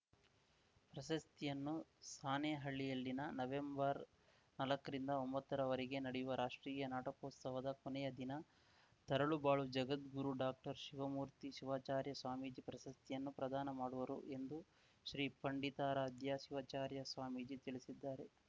ಪ್ರಶಸ್ತಿಯನ್ನು ಸಾಣೇಹಳ್ಳಿಯಲ್ಲಿನ ನವೆಂಬರ್ನಾಲ್ಕರಿಂದ ಒಂಬತ್ತ ರವರೆಗೆ ನಡೆಯುವ ರಾಷ್ಟ್ರೀಯ ನಾಟಕೋತ್ಸವದ ಕೊನೆಯ ದಿನ ತರಳುಬಾಳು ಜಗದ್ಗುರು ಡಾಕ್ಟರ್ ಶಿವಮೂರ್ತಿ ಶಿವಾಚಾರ್ಯ ಸ್ವಾಮೀಜಿ ಪ್ರಶಸ್ತಿಯನ್ನು ಪ್ರದಾನ ಮಾಡುವರು ಎಂದು ಶ್ರೀ ಪಂಡಿತಾರಾಧ್ಯ ಶಿವಚಾರ್ಯ ಸ್ವಾಮೀಜಿ ತಿಳಿಸಿದ್ದಾರೆ